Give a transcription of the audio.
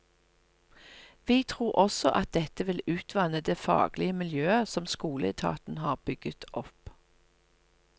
Vi tror også at dette vil utvanne det faglige miljøet som skoleetaten har bygget opp.